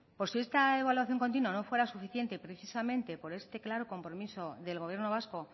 por si esta evaluación continua no fuera suficiente precisamente por este claro compromiso del gobierno vasco